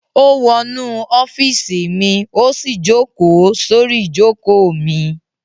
Ó wọnú ọ́fíísì mi, ó sì jókòó sórí ìjókòó mi.